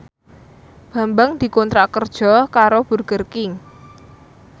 Bambang dikontrak kerja karo Burger King